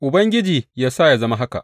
Ubangiji yă sa yă zama haka!